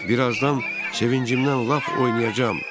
Bir azdan sevincimdən lap oynayacağam.